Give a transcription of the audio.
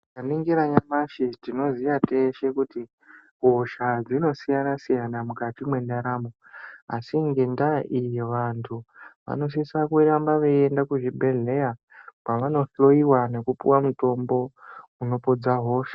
Tikaningira nyamashi tinoziya teshe kuti hosha dzinosiyana siyana mukati mwendaramo asi ngendaa iyi vantu vanosisa kuramba veiende kuzvibhedhlera kwavano hloyiwa nekupiwa mitombo inopodza hosha.